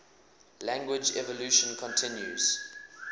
language evolution continues